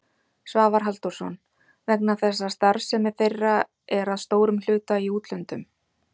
Svavar Halldórsson: Vegna þess að starfsemi þeirra er að stórum hluta í útlöndum?